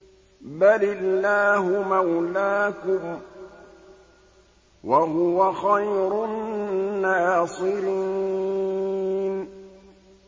بَلِ اللَّهُ مَوْلَاكُمْ ۖ وَهُوَ خَيْرُ النَّاصِرِينَ